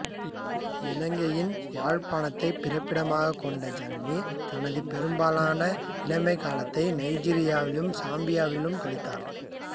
இலங்கையின் யாழ்ப்பாணத்தைப் பிறப்பிடமாகக் கொண்ட ஜனனி தனது பெரும்பாலான இளமைக் காலத்தை நைஜீரியாவிலும் சாம்பியாவிலும் கழித்தார்